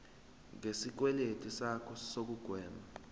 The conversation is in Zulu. ngesikweletu sakho nokugwema